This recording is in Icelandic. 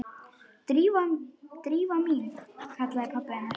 Drífa mín- kallaði pabbi hennar.